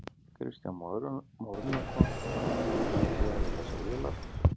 Kristján Már Unnarsson: Hvað ætlið þið að gera við þessar vélar?